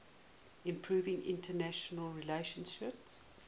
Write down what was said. improving international relations